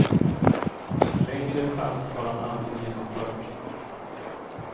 Längre pass har han aldrig genomfört.